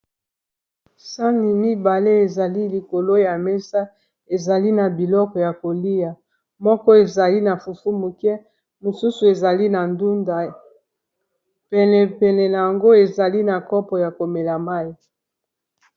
sani mibale ezali likolo ya mesa ezali na biloko ya kolia moko ezali na fufu muke mosusu ezali na ndunda penepene yango ezali na kopo ya komela mai